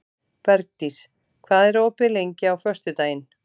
Bergdís, hvað er opið lengi á föstudaginn?